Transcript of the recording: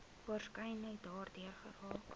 waarskynlik daardeur geraak